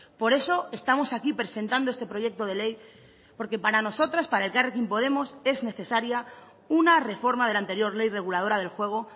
por eso estamos aquí presentando este proyecto de ley porque para nosotras para elkarrekin podemos es necesaria una reforma de la anterior ley reguladora del juego